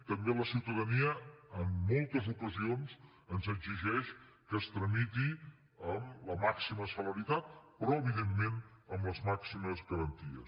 també la ciutadania en moltes ocasions ens exigeix que es tramiti amb la màxima celeritat però evidentment amb les màximes garanties